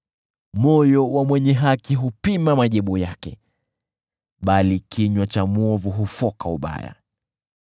Moyo wa mwenye haki hupima majibu yake, bali kinywa cha mwovu hufoka ubaya.